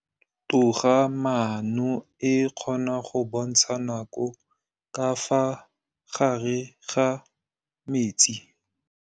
Toga-maanô e, e kgona go bontsha nakô ka fa gare ga metsi.